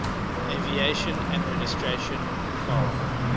aviation administration faa